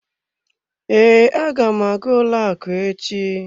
Ee, aga m aga ụlọ akụ echi.